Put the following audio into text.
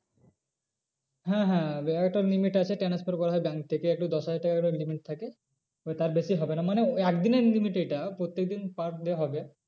হ্যাঁ হ্যাঁ একটা limit আছে transfer করা হয় bank থেকে একটু দশ হাজার টাকা করে limit থাকে। এবার তার বেশি হবে না মানে একদিনের limit এইটা প্রত্যেক দিন per day হবে।